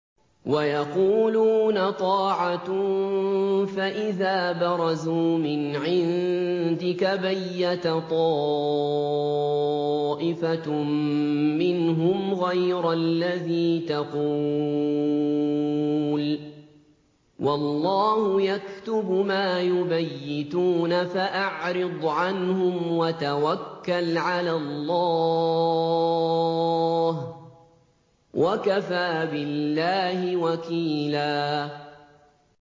وَيَقُولُونَ طَاعَةٌ فَإِذَا بَرَزُوا مِنْ عِندِكَ بَيَّتَ طَائِفَةٌ مِّنْهُمْ غَيْرَ الَّذِي تَقُولُ ۖ وَاللَّهُ يَكْتُبُ مَا يُبَيِّتُونَ ۖ فَأَعْرِضْ عَنْهُمْ وَتَوَكَّلْ عَلَى اللَّهِ ۚ وَكَفَىٰ بِاللَّهِ وَكِيلًا